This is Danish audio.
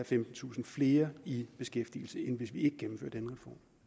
femtentusind flere i beskæftigelse end hvis vi ikke gennemfører denne